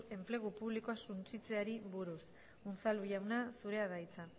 enplegu publikoa suntsitzeari buruz unzalu jauna zurea da hitza